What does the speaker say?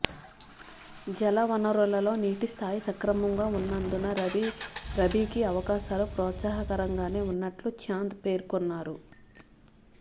జలవనరులలో నీటి స్థాయి సక్రమంగా ఉన్నందున రబీకి అవకాశాలు ప్రోత్సాహకరంగానే ఉన్నట్లు చాంద్్ పేర్కొన్నారు